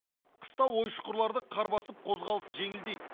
қыста ой шұқырларды қар басып қозғалыс жеңілдейді